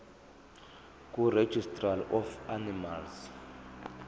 kuregistrar of animals